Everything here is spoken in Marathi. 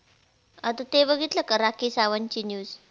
आता ते बघितलं का राखी सावंतची news